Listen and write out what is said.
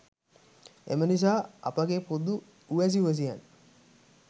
එම නිසා අපගේ පොදු උවැසි උවැසියන්